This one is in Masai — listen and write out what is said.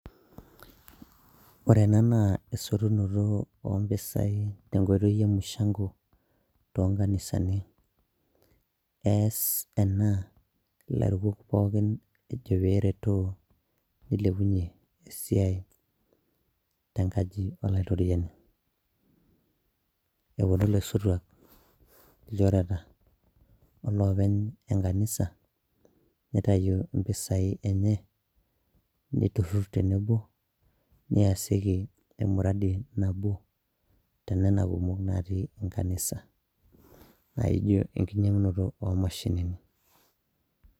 Ore ena naa esotunoto o mpisai te nkoitoi e mushang'o too nkanisani. Ees ena ilairukok pookin ejo pee eretoo , nilepunye esiai te nkaji olaitoriani, eponu ilaosotuak, ilchoreta, oloopeny enkanisa nitayu impisai enye nitururur tenebo neasieki emuradi nabo tena kumok natii enkanisa naijo enkinyang'unoto o mashinini.